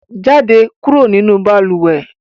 Jáde kúrò nínú balùwẹ̀!